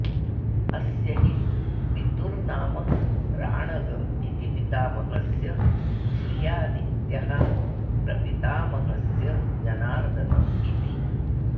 अस्य हि पितुर्नाम राणग इति पितामहस्य श्रियादित्यः प्रपितामहस्य जनार्दन इति